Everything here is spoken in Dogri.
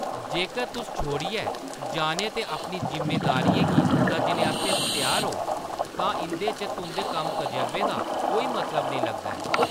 जेकर तुस छोड़ियै जाने ते अपनी जिम्मेदारियें गी तज्जने आस्तै त्यार ओ, तां इʼदे च तुंʼदे कम्म-तजरबें दा कोई मतलब नेईं लगदा ऐ।